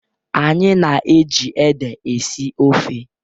Anyị na-eji ede esi ofe.